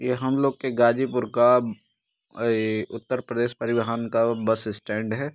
यह हम लोग के गाजीपुर का उत्तर प्रदेश परिवहन का बस स्टैंड है।